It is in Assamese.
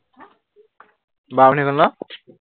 বাৰ মিনিট হৈ গল ন?